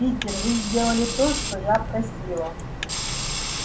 питер вы сделали то что я просила